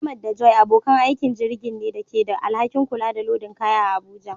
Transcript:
Ahmad da Joy abokan aikin jirgin ne da ke da alhakin kula da lodin kaya a Abuja.